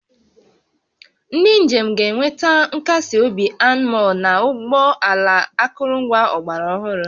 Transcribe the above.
Ndị njem ga-enweta nkasi obi anmol na ụgbọ ala akụrụngwa ọgbara ọhụrụ